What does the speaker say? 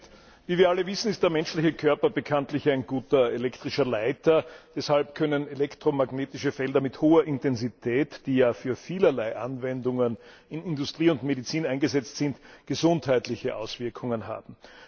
Herr Präsident! Wie wir alle wissen, ist der menschliche Körper bekanntlich ein guter elektrischer Leiter. Deshalb können elektromagnetische Felder mit hoher Intensität, die bei vielerlei Anwendungen in Industrie und Medizin eingesetzt werden, gesundheitliche Auswirkungen haben.